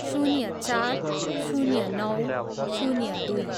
शून्य चार, शून्य नौ, शून्य दुई